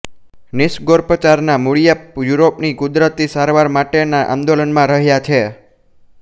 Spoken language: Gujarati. નિસર્ગોપચારના મૂળિયા યુરોપની કુદરતી સારવાર માટેના આંદોલનમાં રહ્યાં છે